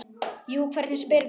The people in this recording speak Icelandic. Jú, hvernig spyrðu.